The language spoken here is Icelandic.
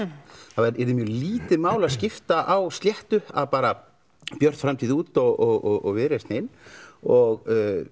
það yrði mjög lítið mál að skipta á sléttu að bara Björt framtíð út og Viðreisn inn og